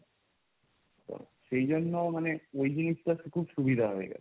তো সেজন্য মানে ওই জিনিসটাতে খুব সুবিধা হয়।